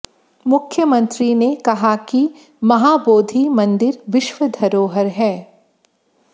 मुख्यमंत्री ने कहा कि महाबोधि मंदिर विश्व धरोहर है